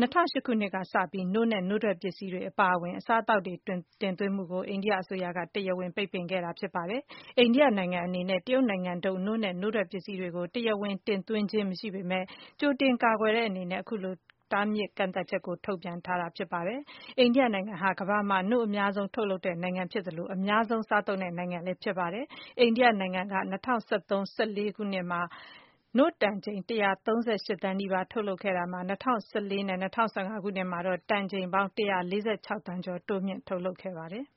၂၀၀၈ ခုနှစ်ကစပြီး နို့နဲ့ နို့ထွက် ပစ္စည်းတွေ အပါအဝင် အစားအသောက်တွေ တင်သွင်းမှုကို အိန္ဒိယအစိုးရက တရားဝင် ပိတ်ပင်ထားခဲ့တာ ဖြစ်ပါတယ်။ အိန္ဒိယနိုင်ငံအနေနဲ့ တရုတ်နိုင်ငံထုတ် နို့နဲ့ နို့ထွက်ပစ္စည်းတွေကို တရားဝင် တင်သွင်းခြင်းမရှိပေမယ့်လည်း ကြိုတင် ကာကွယ်တဲ့အနေနဲ့ အခုလို တားမြစ် ကန့်သတ်ချက်ကို ထုတ်ပြန်ထားတာ ဖြစ်ပါတယ်။ အိန္ဒိယနိုင်ငံဟာ ကမ္ဘာမှာ နို့အများဆုံး ထုတ်လုပ်တဲ့နိုင်ငံဖြစ်သလို၊ အများဆုံး စားသုံးတဲ့နိုင်ငံလည်း ဖြစ်ပါတယ်။ အိန္ဒိယနိုင်ငံက ၂၀၁၃ - ၁၄ ခုနှစ်မှာ နို့တန်ချိန် ၁၃၈ သန်း နီးပါး ထုတ်လုပ်ခဲ့ရာက ၂၀၁၄ - ၁၅ ခုနှစ်မှာ တန်ချိန်ပေါင်း ၁၄၆ သန်းကျော် တိုးမြင့် ထုတ်လုပ်ခဲ့ပါတယ်။